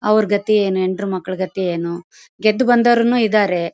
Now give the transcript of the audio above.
ಅವರ ಗತಿ ಏನು ಹೆಂಡ್ರುಮಕ್ಳು ಗತಿ ಏನು ಗೆದ್ದು ಬಂದವರು ಇದ್ದಾರೆ.